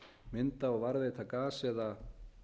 mynda og varðveita gas eða